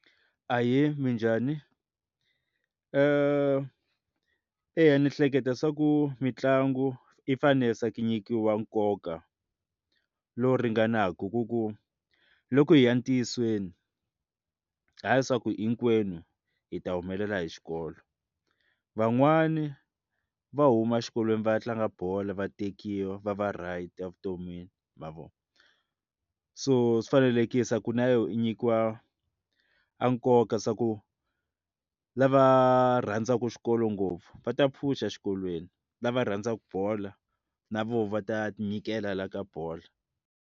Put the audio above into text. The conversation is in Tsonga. Ahee, minjhani? eya ni hleketa swa ku mitlangu yi fanele swa ku nyikiwa nkoka lowu ringanaka ku ku loko hi ya entiyiseni hayi leswaku hinkwenu hi ta humelela hi xikolo van'wani va huma xikolweni va ya tlanga bolo vatekiwa va va right evuton'wini ma vo so swi fanelekile ku na yo nyikiwa a nkoka swa ku lava rhandzaka xikolo ngopfu va ta pfuxa xikolweni lava rhandzaka bola na voho va ta nyikela la ka bola.